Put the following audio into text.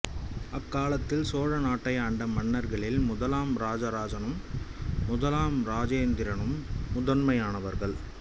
அக்காலத்தில் சோழ நாட்டையாண்ட மன்னர்களில் முதலாம் இராசராசனும் முதலாம் இராசேந்திரனும் முதன்மையானவர்கள்